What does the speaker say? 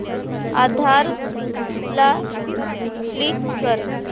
आधार ला लिंक कर